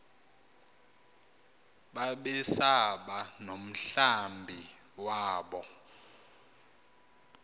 babesaba nomhlambi wabo